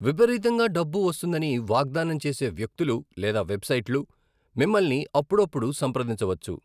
విపరీతంగా డబ్బు వస్తుందని వాగ్దానం చేసే వ్యక్తులు లేదా వెబ్సైట్లు మిమ్మల్ని అప్పుడప్పుడు సంప్రదించవచ్చు.